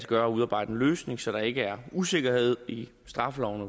gøre at udarbejde en løsning så der ikke er usikkerhed i straffeloven